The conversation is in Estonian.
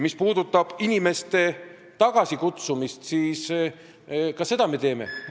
Mis puudutab inimeste tagasikutsumist, siis ka seda me teeme.